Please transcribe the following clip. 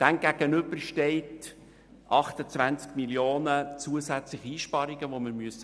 Demgegenüber stehen 28 Mio. Franken zusätzliche Einsparungen, die wir finden müssen.